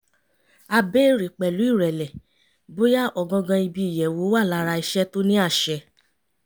ó bèèrè pẹ̀lú ìrẹ̀lẹ̀ bóyá ọ̀gangan ibi ìyẹ̀wò wà lára iṣẹ́ tó ní àṣẹ